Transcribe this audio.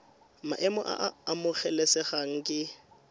maemo a a amogelesegang ke